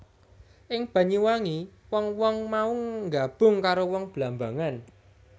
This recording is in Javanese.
Ing Banyuwangi wong wong mau nggabung karo wong Blambangan